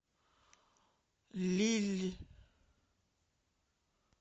лилль